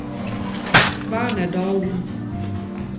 Werner Dalen